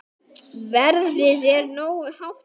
Verðið er nógu hátt fyrir.